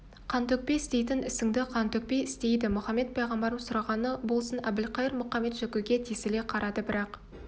қан төкпей істейтін ісіңді қан төкпей істедейді мұхаммед пайғамбарым сұрағаны болсын әбілқайыр мұқамет-жөкіге тесіле қарады бірақ